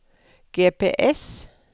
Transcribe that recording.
GPS